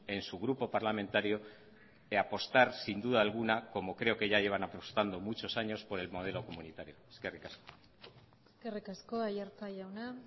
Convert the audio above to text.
en su grupo parlamentario apostar sin duda alguna como creo que ya llevan apostando muchos años por el modelo comunitario eskerrik asko eskerrik asko aiartza jauna